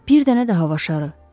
Bir dənə də hava şarı.